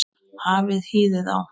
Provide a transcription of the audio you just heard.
Hafið hýðið á.